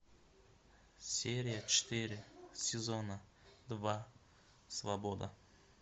серия четыре сезона два свобода